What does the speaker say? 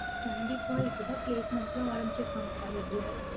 கண்டிப்பா, இப்பதான் placement லாம் ஆரம்பிச்சிருக்காங்க college ல